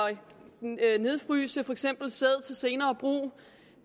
nedfryse for eksempel sæd til senere brug